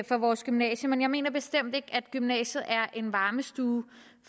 for vores gymnasium men jeg mener bestemt ikke at gymnasiet er en varmestue